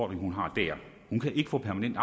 hun har der hun kan ikke få permanent